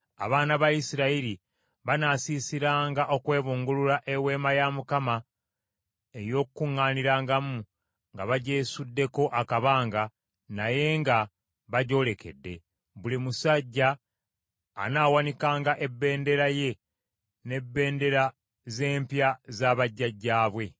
“Abaana ba Isirayiri banaasiisiranga okwebungulula Eweema ey’Okukuŋŋaanirangamu, nga bagyesuddeko akabanga naye nga bagyolekedde. Buli musajja anaawanikanga ebendera ye n’ebendera z’empya za bajjajjaabwe.”